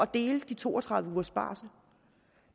dele de to og tredive ugers barsel